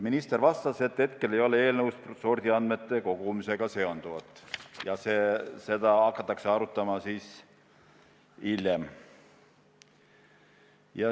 Minister vastas, et eelnõu sordiandmete kogumisega seonduvat ei käsitle, seda teemat hakatakse arutama hiljem.